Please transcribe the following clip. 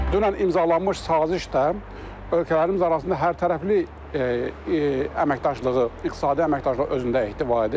Dünən imzalanmış saziş də ölkələrimiz arasında hərtərəfli əməkdaşlığı, iqtisadi əməkdaşlığı özündə ehtiva edir.